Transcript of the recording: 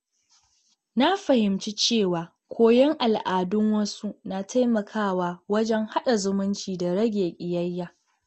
Na fahimci cewa koyon al’adun wasu na taimakawa wajen haɗa zumunci da rage ƙiyayya.